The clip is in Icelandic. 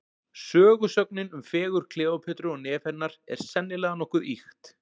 Sögusögnin um fegurð Kleópötru og nef hennar, er sennilega nokkuð ýkt.